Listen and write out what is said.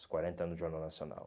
Os quarenta anos do Jornal Nacional.